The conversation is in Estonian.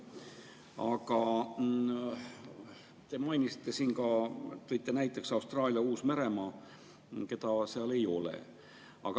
Aga te tõite näiteks ka Austraalia ja Uus-Meremaa, keda seal ei ole.